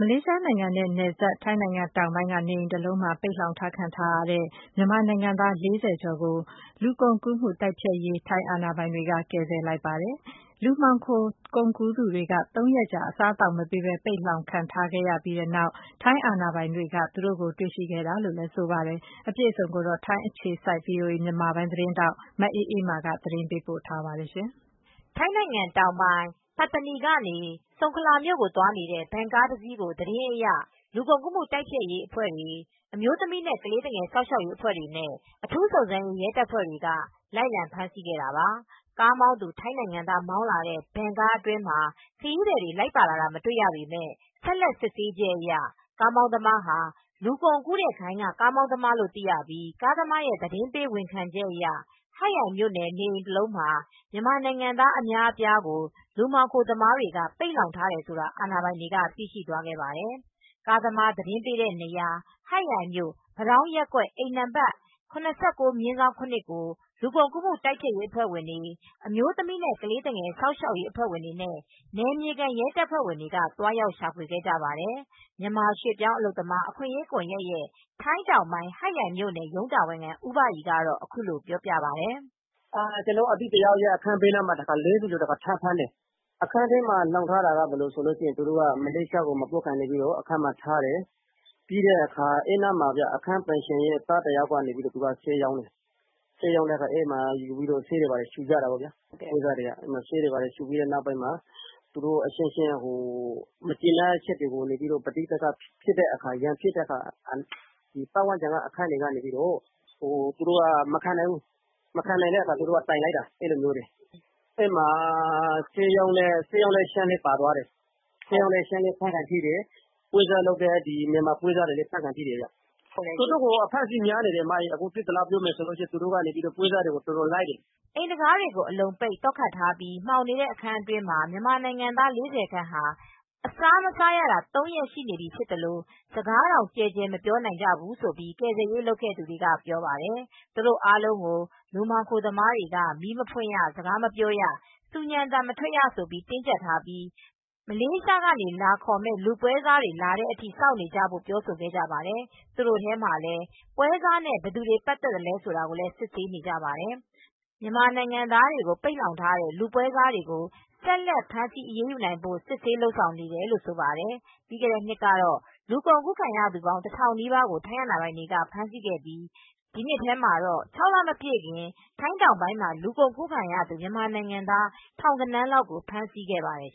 လေးရှားနိုင်ငံနဲ့နယ်စပ် ထိုင်းနိုင်ငံ တောင်ပိုင်းက နေအိမ်တလုံးမှာ ပိတ်လှောင်ခံထားရတဲ့ မြန်မာနိုင်ငံသား ၄၀ ကျော်ကို ထိုင်းလူကုန်ကူးမှုတိုက်ဖျက်ရေး အာဏာပိုင်တွေ ကယ်ဆယ်လိုက်ပါတယ်။ လူမှောင်ခိုကူးသူတွေက ၃ ရက်ကြာ အစားအသောက်မပေးပဲ ပိတ်လှောင်ခံခဲ့ပြီးနောက် ထိုင်းအာဏာပိုင်တွေက တွေ့ရှိခဲ့တာလို့လည်း ဆိုပါတယ်။ အပြည့်အစုံကိုတော့ ထိုင်းအခြေစိုက် ဗွီအိုအေ မြန်မာပိုင်းသတင်းထောက် မအေးအေးမာက သတင်းပေးပို့ ထားပါတယ်။ ထိုင်းနိုင်ငံ တောင်ပိုင်း ၊ ပတ်တနီ ကနေ ဆုန်ခလာ မြို့ကို သွားနေတဲ့ ဗင်ကားတစ်စီး ကို သတင်းအရ လူကုန်ကူးမှု တိုက်ဖျက်အဖွဲ့တွေ ၊ အမျိုးသမီးနဲ့ ကလေးသူငယ်များ စောင့်ရှောက်ရေးအဖွဲ့တွေ ၊ အထူးစုံစမ်းရေး ရဲတပ်ဖွဲ့တွေက လိုက်လံဖမ်းဆီးခဲ့တာပါ။ ကားမောင်းသူ ထိုင်းနိုင်ငံသား မောင်းလာတဲ့ ဗင်ကားအတွင်းမှာ ခရီးသည်လိုက်ပါလာတာ မတွေ့ရပေမယ့် ဆက်လက်စစ်ဆေးချက်အရ ကားမောင်းသမား ဟာ လူကုန်ကူးတဲ့ဂိုဏ်းက ကားမောင်းသမားလို့သိရပြီး ကားသမားရဲ့ သတင်းပေးဝန်ခံချက်အရဟတ်ယိုင်မြို့နယ် နေအိမ်တစ်လုံးမှာ မြန်မာနိုင်ငံသား အများအပြား ကို လူမှောင်ခိုသမားတွေက ပိတ်လှောင်ထားတယ်ဆိုတာကို အာဏာပိုင်တွေကသိရှိသွားခဲ့ပါတယ်။ ကားသမားသတင်းပေးတဲ့ နေရာ ဟတ်ယိုင်မြို့ ပတောင်းရပ်ကွက် အိမ်နံပါတ် No. 79/7 ကို လူကုန်တိုက်ဖျက်ရေးအဖွဲ့ တွေ ၊ အမျိုးသမီးနဲ့ကလေးသူငယ်များ ကာကွယ်စောင့်ရှောက်ရေး အဖွဲ့ဝင်တွေနဲ့ နယ်မြေခံ ရဲတပ်ဖွဲ့ဝင်တွေ သွားရောက် ရှာဖွေခဲ့ကြပါတယ်။ မြန်မာ ရွှေ့ပြောင်းအလုပ်သမား အခွင့်ရေးကွန်ယက်ရဲ့ထိုင်းတောင်ပိုင်းဟတ်ရိုင်မြို့နယ် ရုံးတာဝန်ခံ ဦးဘရီက အခုလို ပြောပြပါတယ်။ “ကျနော့် အသိတယောက်ရဲ့ အခန်းဘေးမှာ ၄၀ကျော်ကို ထပ်ဖမ်းတယ်။ အခန်းထဲမှာ လှောင်ထားတာက မလေးရှားကို မပို့ခင်မှာ အခန်းထဲမှာလှောင်ထားတယ်။ ပြီးတော့ အခန်းပိုင်ရှင်တဦးရဲ့ သားက ဆေးတွေရောင်းတယ်။ အဲဒီမှာ ပွဲစားတွေက ဆေးရူကြတော့ အချင်းချင်းမကျေနပ်၊ ရန်ဖြစ်ကြတော့ ပတ်ဝန်းကျင် အခန်းဘေးက မခံနိုင်ဘူး။ အဲဒီတော့ သူတို့ကတိုင်တာ။ အခန်းပိုင်ရှင် ဆေးရောင်းတဲ့ ထိုင်းလည်းပါသွားတယ် ။ ဖမ်းခံထိတယ် မြန်မာ ပွဲစားတွေလည်း ဖမ်းခံထိတယ် တော်တော်ကို အဖမ်းအဆီးများနေတယ်ဗျ အခုက ပွဲစားတွေကို အတော်လိုက်နေတယ်။” အိမ်တံခါးတွေအလုံးပိတ် သော့ခတ်ထားပြီး မှောင်နေတဲ့အခန်းငယ် အတွင်းမှာ မြန်မာနိုင်ငံသား ၄၀ ခန့်ဟာ အစာမစားရတာ သုံးရက်ရှိနေပြီး စကားတောင်ကျယ်ကျယ် မပြောနိုင်ကြပါဘူးလို့ကယ်ဆယ်ရေး လုပ်ခဲ့သူတွေက ပြောပါတယ်။ သူတို့အားလုံးကို လူမှောင်ခိုသမားတွေက မီးမဖွင့်ရ ၊ စကားမပြောရ၊ ဆူညံသံမထွက်ရလို့ တင်းကြပ်ထားပြီး မလေးရှားက လာခေါ်မယ့် လူပွဲစားအဖွဲ့တွေလာတဲ့အထိ စောင့်နေကြတာလို့ ပြောဆိုခဲ့ပါတယ်။သူတို့ထဲမှာလည်းပွဲစားနဲ့ ပတ်သက်သူ ဘယ်သူဆိုတာကို စစ်ဆေးနေကြပါတယ်။ မြန်မာနိုင်ငံသားတွေကို ပိတ်လှောင်ထားတဲ့ လူပွဲစားတွေကို ဆက်လက်ဖမ်းဆီးအရေးယူနိုင်ဖို့ စစ်ဆေး လုပ်ဆောင်နေကြောင်းဆိုပါတယ်။ ပြီးခဲ့တဲ့နှစ်ကတော့လူကုန်ကူးခံရသူ ပေါင်း ၁၀၀၀နီးပါးကို ထိုင်းအာဏာပိုင်တွေက ဖမ်းဆီးခဲ့ပြီး ဒီနှစ်ထဲမှာတော့ ၆လမပြည့်ခင် ထိုင်းတောင်ပိုင်းမှာ လူကုန်ကူးခံရသူ မြန်မာနိုင်ငံသား ထောင်ဂဏန်းလောက ်ဖမ်းဆီးခဲ့ရပါတယ်